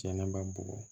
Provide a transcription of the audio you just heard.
Cɛnniba bugɔ